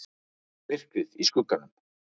MYRKRIÐ Í SKUGGANUM